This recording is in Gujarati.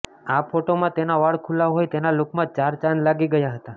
આ ફોટોમાં તેનો વાળ ખુલા હોય તેના લુકમાં ચાર ચાંદ લાગી ગયા હતા